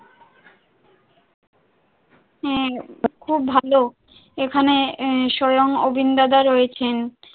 হ্যাঁ খুব ভালো এখানে আহ স্বয়ং গোবিন্দ দেব রয়েছেন,